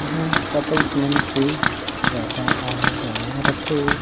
इहा कपल्स मन के ज्यादा आना-जाना रथे।